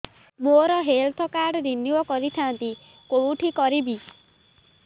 ମୋର health card renew କରିଥାନ୍ତି କୋଉଠି କରିବି